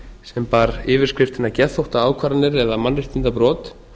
sem bar yfirskriftina geðþóttaákvarðanir eða mannréttindabrot